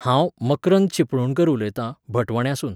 हांव, मक्रंद चिपळूणकर उलयतां भटवण्यासून